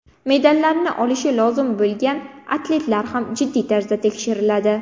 Medallarni olishi lozim bo‘lgan atletlar ham jiddiy tarzda tekshiriladi.